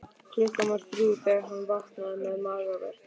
Klukkan var þrjú þegar hann vaknaði með magaverk.